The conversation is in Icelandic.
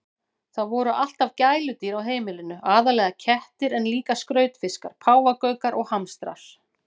Það voru alltaf gæludýr á heimilinu, aðallega kettir en líka skrautfiskar, páfagaukar og hamstrar.